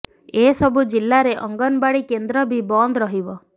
ଏ ସବୁ ଜିଲ୍ଲାରେ ଅଙ୍ଗନବାଡ଼ି କେନ୍ଦ୍ର ବି ବନ୍ଦ ରହିବ